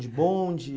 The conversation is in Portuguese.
De bonde?